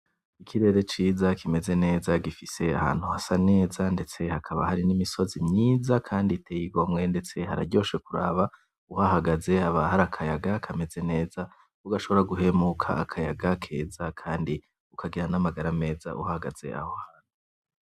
Ikirere ciza kimeze neza, gifise ahantu hasa neza ndetse hakaba hari n'imisozi myiza kandi iteye igomwe, ndetse hararyoshe kuraba uhahagaze haba hari akayaga kameze neza ugashobora guhemuka akayaga keza Kandi ukagira n'amabara meza uhagaze aho hantu.